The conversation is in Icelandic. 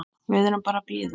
Við erum bara að bíða.